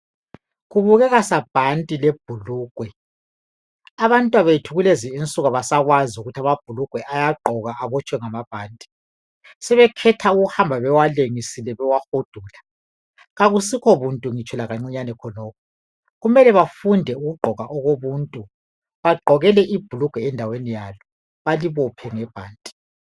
Kubukeka sabhanti lebhulugwe abantwabethu kulezinsuku abasakwazi ukuthi amabhulugwe ayagqokwa abotshwe ngamabhanti sebekhetha ukuhamba bewalengisile bewahudula akusikho buntu ngitsho lakancinyane khonokho kumele bafunde ukugqoka okobuntu bagqokele ibhulugwe endaweni yalo balibophe ngebhanti.